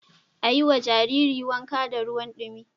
A yiwa Jaririn wanka da ruwan dumi